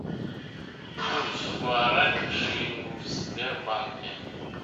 курс гуарани к шиллингу в сбербанке